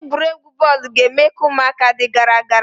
Egwuregwu bọọlụ ga- eme ka ụmụaka dị gara gara.